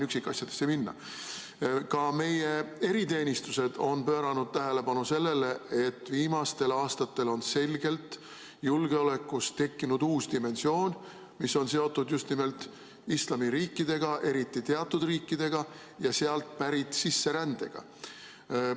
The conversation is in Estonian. Ka meie eriteenistused on pööranud tähelepanu sellele, et viimastel aastatel on julgeolekus selgelt tekkinud uus dimensioon, mis on seotud just nimelt islamiriikidega, eriti teatud riikidega ja sealt pärit sisserändega.